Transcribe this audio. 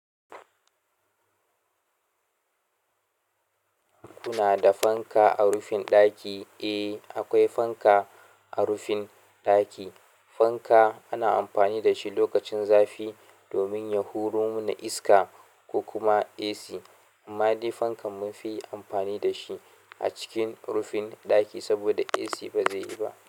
Kuna da fanka a rufin ɗaki? Eh, akwai fanka a rufin ɗaki. Fanka ana amfani da shi lokacin zafi domin ya huro mana iska ko kuma AC. Amma dai fankan munfi amfani da shi a cikin rufin ɗaki saboda AC ba zai yi ba.